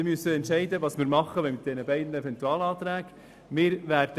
Wir müssen uns nun entscheiden, was wir in Bezug auf die beiden Eventualanträgen tun wollen.